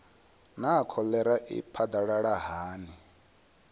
naa kholera i phadalala hani